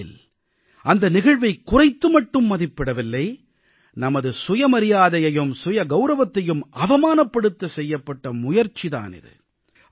உண்மையில் அந்த நிகழ்வைக் குறைத்து மட்டும் மதிப்பிடவில்லை நமது சுயமரியாதையையும் சுயகௌரவத்தையும் அவமானப்படுத்த செய்யப்பட்ட முயற்சி தான் இது